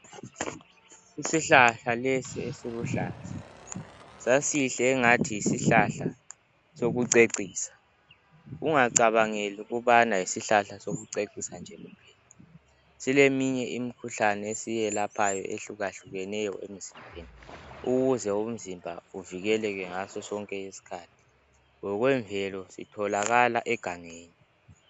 Isihlahla lesi esiluhlaza sasihle engathi yisihlahla sokucecisa . Ungacabangeli ukubana yisihlahla sokucecisa nje kuphela. Sileminye imikhuhlane esiyelaphayo ehlukahlukeneyo emzimbeni ukuze umzimba uvikeleke ngaso sonke isikhathi. Ngokwemvelo sitholakala egangeni.